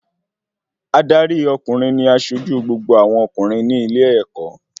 Adarí ọkùnrin ní asojú gbogbo àwọn ọkùnrin ní ilé-ẹ̀kọ́